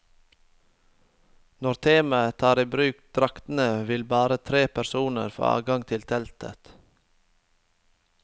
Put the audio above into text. Når teamet tar i bruk draktene, vil bare tre personer få adgang til teltet.